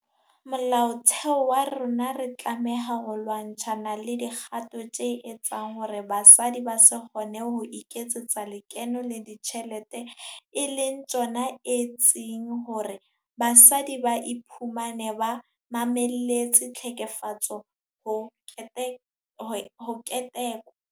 Molaotheo wa rona re tlameha ho lwa-ntshana le dikgato tse etsang hore basadi ba se kgone ho iketsetsa lekeno le dijthelete e leng tsona etseng hore basadi ba iphumane ba mamelletse tlhekefetso ho ketekwa.